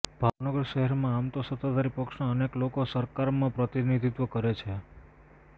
ભાવનગર શહેરમાં આમતો સત્તાધારી પક્ષના અનેક લોકો સરકારમાં પ્રતિનિધિત્વ કરે છે